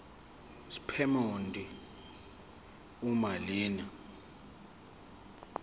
sephomedi uma lena